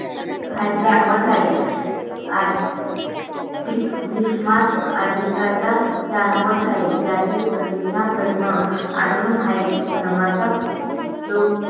जाणवत आहे आज. दीप विर स्मार्ट अधिकांचा जाणवत आहे. यातील प्रदेशा प्रश्न अजून आहे तर माझा लोक.